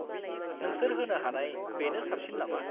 -नोंसोर होनो हानाय बेनो साबसिन नामा?